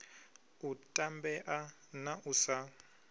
u tambea na u sa